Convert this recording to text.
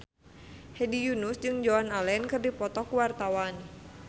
Hedi Yunus jeung Joan Allen keur dipoto ku wartawan